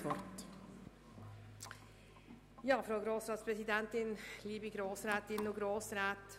Somit hat Frau Regierungsrätin Simon das Wort.